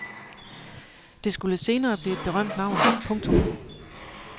Det skulle senere blive et berømt navn. punktum